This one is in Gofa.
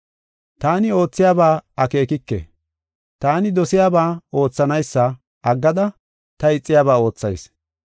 Taani oothiyaba akeekike; taani dosiyaba oothanaysa aggada ta ixiyaba oothayis.